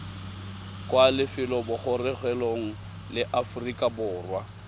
kwa lefelobogorogelong la aforika borwa